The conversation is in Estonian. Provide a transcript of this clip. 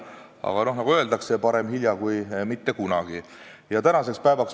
Aga nagu öeldakse, parem hilja kui mitte kunagi!